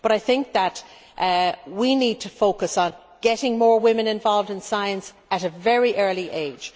However, I think that we need to focus on getting more women involved in science at a very early age.